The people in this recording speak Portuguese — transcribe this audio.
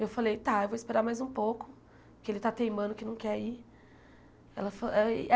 Eu falei, tá, eu vou esperar mais um pouco, que ele está teimando, que não quer ir. Ela fa eh ih